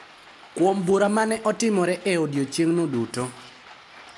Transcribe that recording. Kuom bura ma ne otimore e odiechieng’no duto